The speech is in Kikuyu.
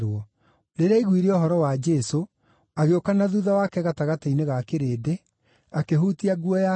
Rĩrĩa aiguire ũhoro wa Jesũ, agĩũka na thuutha wake gatagatĩ-inĩ ga kĩrĩndĩ, akĩhutia nguo yake,